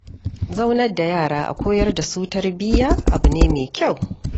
Zaunar da yara a koyar da su tarbiyya abu ne mai kyau.